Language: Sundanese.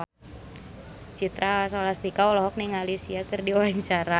Citra Scholastika olohok ningali Sia keur diwawancara